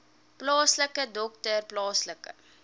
plaaslike dokter plaaslike